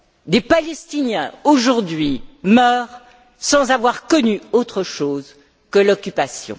Des Palestiniens aujourd'hui meurent sans avoir connu autre chose que l'occupation.